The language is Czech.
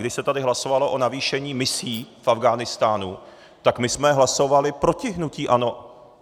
Když se tady hlasovalo o navýšení misí, v Afghánistánu, tak my jsme hlasovali proti hnutí ANO.